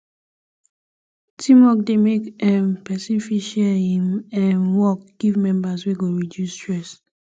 teamwork de make um persin fit share im um work give members wey go reduce stress